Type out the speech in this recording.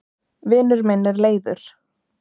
vinur minn er leiður